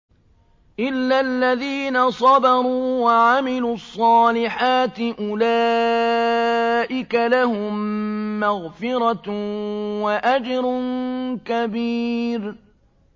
إِلَّا الَّذِينَ صَبَرُوا وَعَمِلُوا الصَّالِحَاتِ أُولَٰئِكَ لَهُم مَّغْفِرَةٌ وَأَجْرٌ كَبِيرٌ